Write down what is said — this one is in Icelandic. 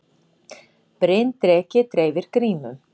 Bryndreki dreifir grímum